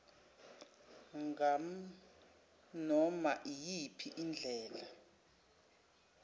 nganoma iyiphi indlela